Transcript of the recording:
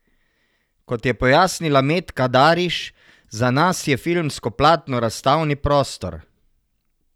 Kot je pojasnila Metka Dariš: 'Za nas je filmsko platno razstavni prostor.